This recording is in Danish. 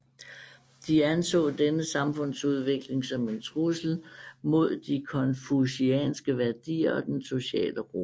De anså denne samfundsudvikling som en trussel mod de konfucianske værdier og den sociale ro